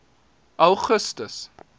augustus